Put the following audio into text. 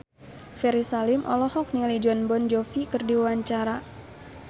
Ferry Salim olohok ningali Jon Bon Jovi keur diwawancara